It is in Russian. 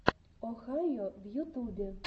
охайо в ютубе